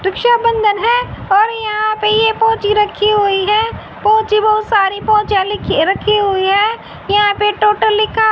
रक्षाबंधन है और यहां पे पोछी रखी हुई हैं। पोछी बहोत सारी पोछीं रखी हुई है। यहां पे टोटो लिखा--